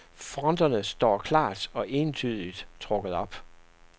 Fronterne står klart og entydigt trukket op.